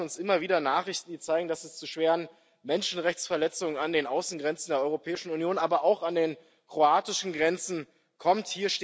Leider erreichen uns immer wieder Nachrichten, die zeigen, dass es zu schweren Menschenrechtsverletzungen an den Außengrenzen der Europäischen Union, aber auch an den kroatischen Grenzen kommt.